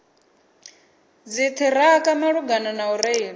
dziṱhirakha malugana na u reila